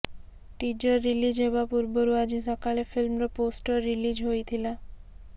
teaser release ହେବା ପୂର୍ବରୁ ଆଜି ସକାଳେ ଫିଲ୍ମର ପୋଷ୍ଟର ରିଲିଜ ହୋଇଥିଲା